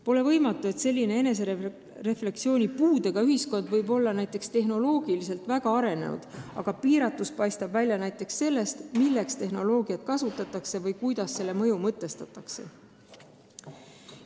Pole võimatu, et selline refleksioonipuudega ühiskond võib olla näiteks tehnoloogiliselt väga arenenud, aga piiratus paistab välja näiteks sellest, milleks tehnoloogiat kasutatakse või kuidas selle mõju mõtestatakse.